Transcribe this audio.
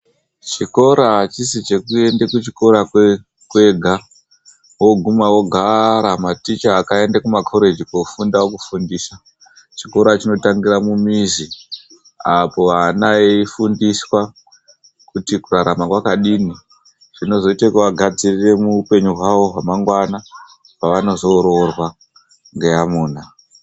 Zvikora hachisi cheekuenda kuchikora kwega woguma wogara maticha akaenda kuma koregi kundofunda okufundisa chikora chinotangira mumizi apa ana eifundiswa kuti kurarama kwakadini, zvinoita kugadzire upenyu hwamangwana pavanozonoroorwa ngeamuna.